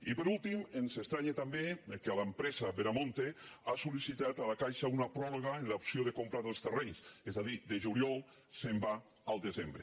i per últim ens estranya també que l’empresa veremonte ha sollicitat a la caixa una pròrroga en l’opció de compra dels terrenys és a dir de juliol se’n va al desembre